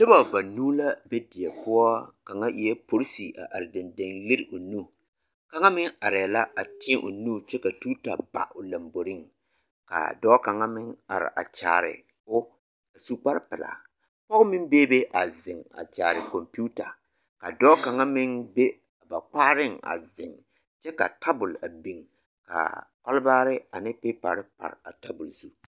Nobɔ banuu la be die poɔ kaŋa eɛ porisi a are dendeŋ lere o nu kaŋa meŋ arɛɛ la a tēɛ o nu kyɛ ka tuta ba o lomboriŋ k'a dɔɔ kaŋ meŋ are a kyaare o su kpare pelaa pɔge meŋ beebe a zeŋ a kyaare kɔmpiita a dɔɔ kaŋa meŋ be ba kpaareŋ a zeŋ kyɛ ka tabol a biŋ ka kɔlbaare ane pepare pare o zu.